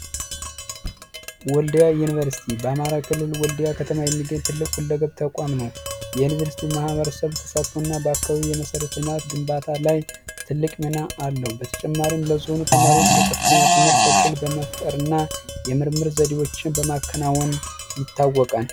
ወልዲያ ዩኒቨርሲቲ በአማራ ክልል የሚገኙ ትልቅ የዩኒቨርሲቲ ተቋም ነው በአካባቢው የመሰረተ ልማት ግንባታ ለትልቅ ሚና አለው በተጨማሪ ለብዙ ተማሪዎች የከፍተኛ ትምህርት ዕድል በመፍጠርና ለመርምር የተለያዩ ዘዴዎችን በማከናወን ይታወቃል።